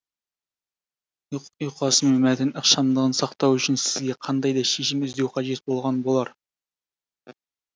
ұйқасы мен мәтін ықшамдығын сақтау үшін сізге қандай да шешім іздеу қажет болған болар